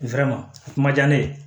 a kun diya ne ye